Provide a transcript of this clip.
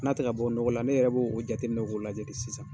N'a tɛ ka bɔ nɔgɔ la ne yɛrɛ b'o o jateminɛ k'o lajɛ de sisan.